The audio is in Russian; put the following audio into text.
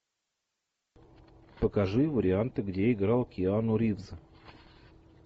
покажи варианты где играл киану ривз